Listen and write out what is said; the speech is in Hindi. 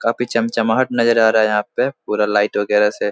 काफी चमचमाहट नजर आ रहा है यहाँ पे पूरा लाइट वगेरह से।